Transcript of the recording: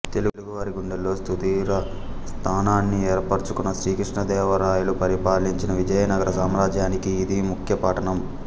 తెలుగు వారి గుండెల్లో సుస్థిర స్థానాన్ని ఏర్పరచుకున్న శ్రీ కృష్ణదేవ రాయలు పరిపాలించిన విజయనగర సామ్రాజ్యానికి ఇది ముఖ్యపట్టణం